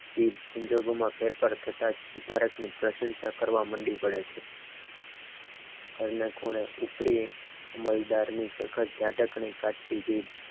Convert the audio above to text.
જીભ સંજોગોમાં ફેરફાર થતા તુરંત જ પ્રશંસા કરવા માંડી પડે છ પહેલે ખૂણે કુતરી માહિતગારની કળતી જીબ